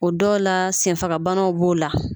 O dɔw la senfagabanaw b'o la.